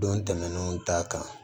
Don tɛmɛnnenw ta kan